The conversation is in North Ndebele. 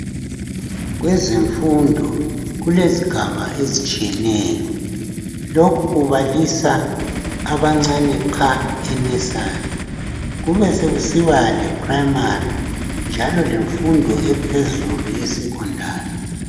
Kwezemfundo, kulezigaba ezitshiyeneyo. Lokhu kubalisa abancane qha e"nursery",kube sekusiba lephuremari njalo lemfundo ephezulu yeSekhondari.